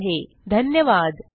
सहभागासाठी धन्यवाद